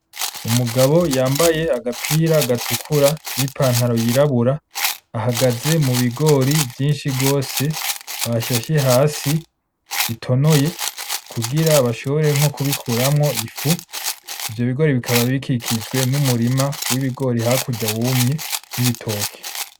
Umugabo yambaye agapira gatukura n’ipantaro yirabura ahagaze mu bigori vyinshi gose bashashe hasi bitonoye kugira bashobore nko kubikuramwo ifu. Ivyo bigori bikaba bikikujwe n’umurima w’ibigori hakurya wumye n’ibitoke.